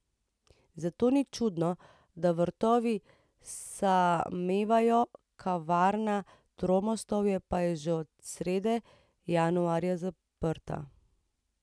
Zato ni čudno, da vrtovi samevajo, kavarna Tromostovje pa je že od srede januarja zaprta.